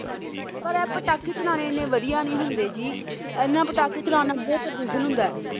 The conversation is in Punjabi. ਪਰ ਆ ਪਟਾਕੇ ਚਲਾਣੇ ਇੰਨੇ ਵਧੀਆ ਨੀਂ ਹੁੰਦੇ ਜੀ ਇੰਨਾਂ ਪਟਾਕੇ ਚਲਾਣ ਨਾਲ ਬਹੁਤ ਪ੍ਰਦੂਸ਼ਣ ਹੁੰਦੈ